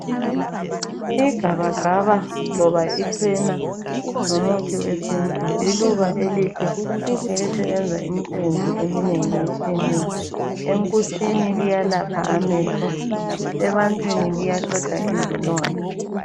Igabagaba loba ichena ngumuthi wesintu liluba elihle elisebenza imisebenzi eminengi etshiyeneyo enkutshini liyalapha amehlo ebantwini liyaqeda izilonda